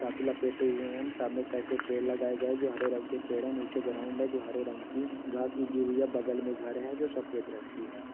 लपेटे हुए हैं हम। सामने एक साइड पे पेड़ लगाए गए हैं जो हरे रंग के पेड़ हैं। नीचे ग्राउन्ड है जो हरे रंग की। घास उगी हुई है। बगल में घर है जो सफेद रंग की है।